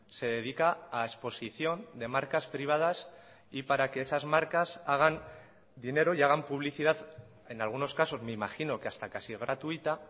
se dedica a exposición de marcas privadas y para que esas marcas hagan dinero y hagan publicidad en algunos casos me imagino que hasta casi gratuita